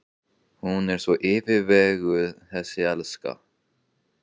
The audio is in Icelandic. Hún er svo yfirveguð þessi elska.